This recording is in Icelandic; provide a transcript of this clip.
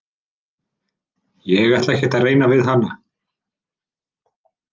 Ég ætla ekkert að reyna við hana.